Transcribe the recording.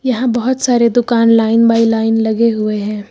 यहां बहोत सारे दुकान लाइन बाई लाइन लगे हुए हैं।